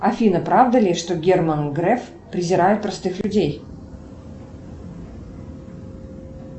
афина правда ли что герман греф презирает простых людей